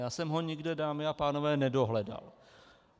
Já jsem ho nikde, dámy a pánové, nedohledal.